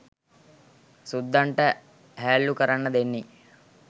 සුද්දන්ට හැල්ලු කරන්න දෙන්නේ.